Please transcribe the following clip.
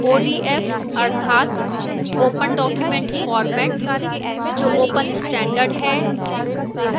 odf अर्थात open document format जो open standard है